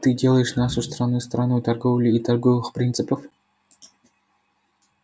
ты делаешь нашу страну страной торговли и торговых принцев